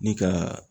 Ni ka